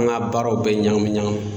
An ka baaraw bɛɛ ɲagami ɲagami.